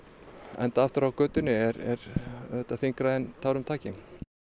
enda aftur á götunni er auðvitað þyngra en tárum taki